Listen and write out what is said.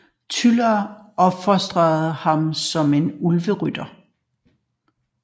Tylla opfostrede ham som en Ulverytter